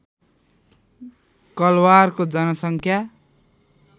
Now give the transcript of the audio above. कलवारको जनसङ्ख्या